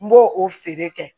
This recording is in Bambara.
N b'o o feere kɛ